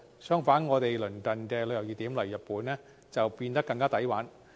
相反，我們鄰近的旅遊熱點，例如日本變得更加"抵玩"。